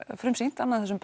frumsýnt annað af þessum